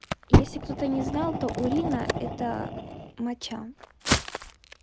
если кто-то не знал то урина это моча